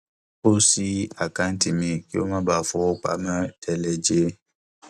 ó ṣí àkáǹtì míì kí ó má bàa fowó pamọ télè jẹ